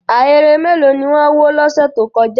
Ahéré mélòó ni wọ́n wó lọ́sẹ̀ tó kọjá?